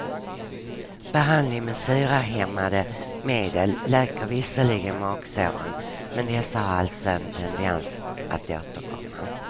Behandling med syrahämmande medel läker visserligen magsåren men dessa har alltså en tendens att återkomma.